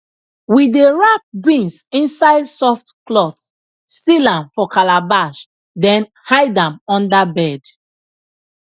we dey wrap beans inside soft cloth seal am for calabash then hide am under bed